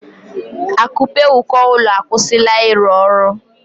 Akupe uko ụlọ akwụsịla ịrụ ọrụ